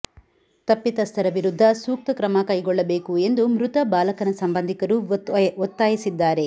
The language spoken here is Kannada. ತಪ್ಪಿತಸ್ಥರ ವಿರುದ್ಧ ಸೂಕ್ತ ಕ್ರಮ ಕೈಗೊಳ್ಳಬೇಕು ಎಂದು ಮೃತ ಬಾಲಕನ ಸಂಬಂಧಿಕರು ಒತ್ತಾಯಿಸಿದ್ದಾರೆ